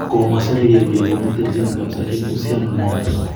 Kamwa Sergei kole konun terjinet kabisa en uhusianenyan.